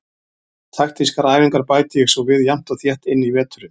Taktískar æfingar bæti ég svo við jafnt og þétt inn í veturinn.